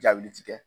Jaabi ti kɛ